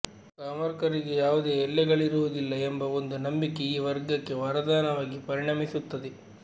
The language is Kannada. ಕಾಮರ್ಿಕರಿಗೆ ಯಾವುದೆ ಎಲ್ಲೆಗಳಿರುವುದಿಲ್ಲ ಎಂಬ ಒಂದು ನಂಬಿಕೆ ಈ ವರ್ಗಕ್ಕೆ ವರದಾನವಾಗಿ ಪರಿಣಮಿಸುತ್ತದೆ